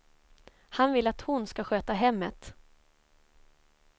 Han vill att hon ska sköta hemmet.